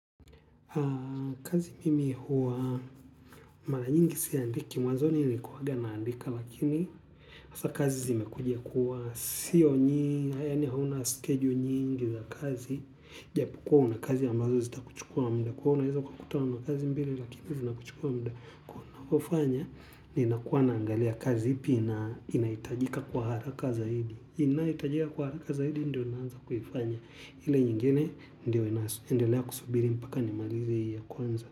Kazi mimi huwa mara nyingi siandiki, mwazoni nilikuwaga naandika, lakini kazi zimekuja kuwa sio nyingi, yani hauna schedule nyingi za kazi. Japokuwa una kazi ambazo zitakuchukua muda kwa hiyo unaeza ukutana na kazi mbili, lakini zinakuchukua muda kuwa unakufanya, ninakuwa naangalia kazi ipi inahitajika kwa haraka zaidi. Inahitajika kwa haraka zaidi ndio naanza kufanya. Ile nyingine ndio ina endelea kusubiri mpaka nimalize hii ya kwanza.